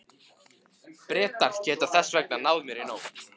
Bretar geta þess vegna náð mér í nótt.